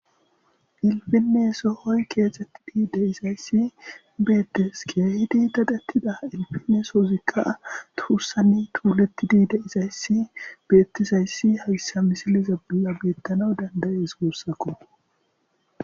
Ilpinne sohoy keexetid de'izaysi beetes, keehid dadetida sohozika tuusan tuuletid de'izaysi betizaysi haysa misiliza bolla beyanawun danda'es giusako